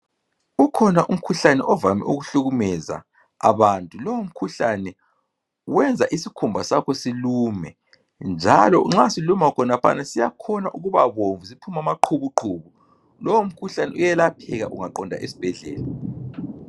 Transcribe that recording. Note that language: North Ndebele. Ukhona umkhuhlane ovame ukuhlukumeza abantu. Lowu mkhuhlane wenza isikhumba sakho silume, njalo nxa siluma khonaphana siyakhona ukuba bomvu siphume amaqhubuqhubu. Lowu mkhuhlane uyelapheka ungaqonda esibhedlela.